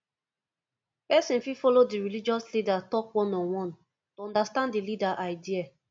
person fit follow di religious leader talk one on one to understand di leader idea